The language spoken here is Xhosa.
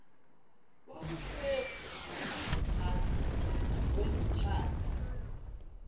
wobukrestu nokaziphatha komtshati